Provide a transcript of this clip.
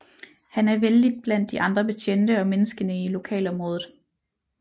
Han er vellidt blandt de andre betjente og menneskene i lokalområdet